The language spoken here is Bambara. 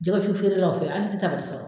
Jɛkɛwusu feerelaw fɛ ali n tɛ taa n ka so!